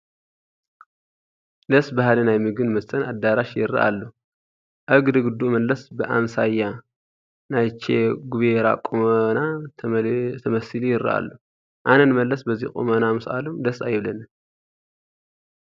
ደስ በሃሊ ናይ ምግብን መስተን ኣዳራሽ ይርአ ኣሎ፡፡ ኣብ ግድግድኡ መለስ ብኣምሳያ ናይ ቼ ጉቬራ ቁመና ተመሲሉ ይርአ ኣሎ፡፡ ኣነ ንመለስ በዚ ቁመና ምስኣሎም ደስ ኣይብለንን፡፡